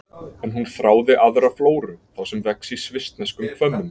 En hún þráði aðra flóru, þá sem vex í svissneskum hvömmum.